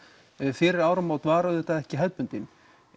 fyrir áramót var auðvitað ekki hefðbundin